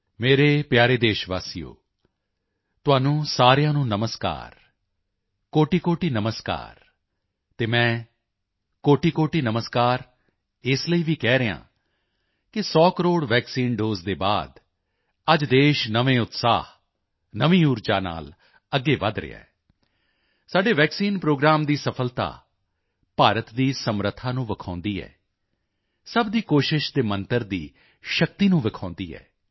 ਮੇਰੇ ਪਿਆਰੇ ਦੇਸ਼ਵਾਸੀਓ ਤੁਹਾਨੂੰ ਸਾਰਿਆਂ ਨੂੰ ਨਮਸਕਾਰ ਕੋਟਿਕੋਟਿ ਨਮਸਕਾਰ ਅਤੇ ਮੈਂ ਕੋਟਿਕੋਟਿ ਨਮਸਕਾਰ ਇਸ ਲਈ ਵੀ ਕਹਿ ਰਿਹਾ ਹਾਂ ਕਿ 100 ਕਰੋੜ ਵੈਕਸੀਨ ਦੋਸੇ ਦੇ ਬਾਅਦ ਅੱਜ ਦੇਸ਼ ਨਵੇਂ ਉਤਸ਼ਾਹ ਨਵੀਂ ਊਰਜਾ ਨਾਲ ਅੱਗੇ ਵਧ ਰਿਹਾ ਹੈ ਸਾਡੇ ਵੈਕਸੀਨ ਪ੍ਰੋਗਰਾਮ ਦੀ ਸਫ਼ਲਤਾ ਭਾਰਤ ਦੀ ਸਮਰੱਥਾ ਨੂੰ ਵਿਖਾਉਂਦੀ ਹੈ ਸਭ ਦੀ ਕੋਸ਼ਿਸ਼ ਦੇ ਮੰਤਰ ਦੀ ਸ਼ਕਤੀ ਨੂੰ ਵਿਖਾਉਂਦੀ ਹੈ